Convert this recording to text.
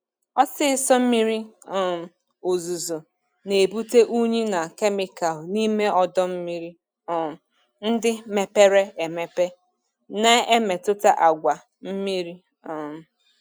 Ọsịsọ miri um ozuzo na-ebute unyi na kemịkal n'ime ọdọ mmiri um ndị mepere emepe, na-emetụta àgwà mmiri. um